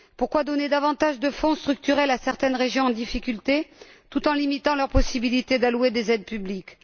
Pourquoi donner davantage de fonds structurels à certaines régions en difficulté tout en limitant leurs possibilités d'allouer des aides publiques?